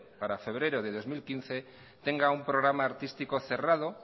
para febrero de dos mil quince tenga un programa artístico cerrado